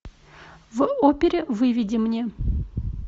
в опере выведи мне